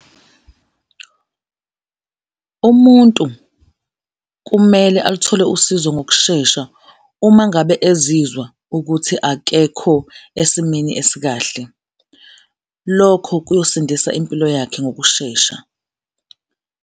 Umuntu kumele aluthole usizo ngokushesha uma ngabe ezizwa ukuthi akekho esimeni esikahle, lokho kuyosindisa impilo yakhe ngokushesha.